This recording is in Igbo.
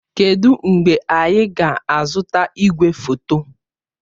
Kedụ mgbe anyị ga-azụta igwefoto?